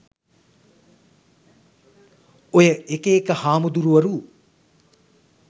ඔය එක එක හාමුදුරුවරු